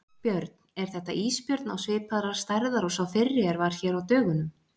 Björn: Er þetta ísbjörn á svipaðrar stærðar og sá fyrri er var hér á dögunum?